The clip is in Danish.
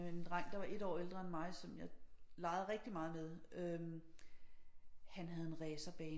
En dreng der var 1 år ældre end mig som jeg legede rigtig meget med øh han havde en racerbane